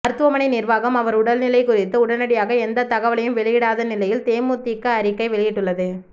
மருத்துவமனை நிர்வாகம் அவர் உடல்நிலை குறித்து உடனடியாக எந்த தகவலையும் வெளியிடாத நிலையில் தேமுதிக அறிக்கை வெளியிட்டுள்ளது